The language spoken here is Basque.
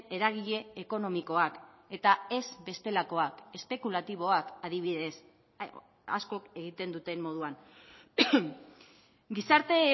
eragile ekonomikoak eta ez bestelakoak espekulatiboak adibidez askok egiten duten moduan gizarte